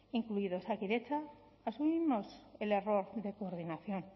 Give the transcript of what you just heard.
incluido osakidetza asumimos el error de coordinación